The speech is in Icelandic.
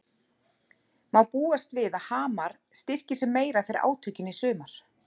Má búast við að Hamar styrki sig meira fyrir átökin í sumar?